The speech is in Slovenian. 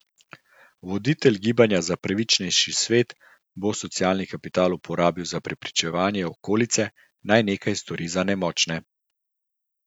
Voditelj gibanja za pravičnejši svet bo socialni kapital uporabil za prepričevanje okolice, naj nekaj stori za nemočne.